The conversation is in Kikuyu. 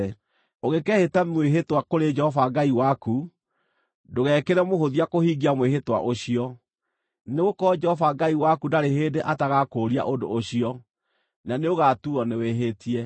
Ũngĩkeehĩta mwĩhĩtwa kũrĩ Jehova Ngai waku, ndũgekĩre mũhũthia kũhingia mwĩhĩtwa ũcio, nĩgũkorwo Jehova Ngai waku ndarĩ hĩndĩ atagakũũria ũndũ ũcio, na nĩũgatuuo nĩwĩhĩtie.